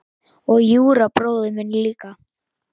Og Júra bróðir minn líka.